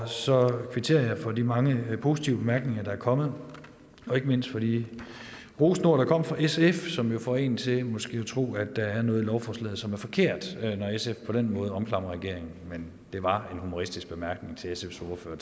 så kvitterer jeg for de mange positive bemærkninger der er kommet og ikke mindst for de rosende ord der kom fra sf som jo får en til måske at tro at der er noget i lovforslaget som er forkert når sf på den måde omklamrer regeringen men det var en humoristisk bemærkning til sfs ordfører